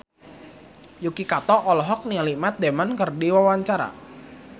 Yuki Kato olohok ningali Matt Damon keur diwawancara